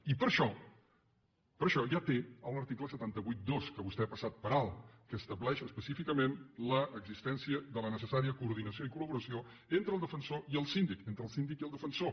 i per això per això ja té l’article set cents i vuitanta dos que vostè ha passat per alt que estableix específicament l’existència de la necessària coordinació i coordinació entre el defensor i el síndic entre el síndic i el defensor